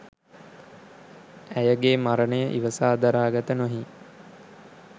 ඇයගේ මරණය ඉවසා දරාගත නොහී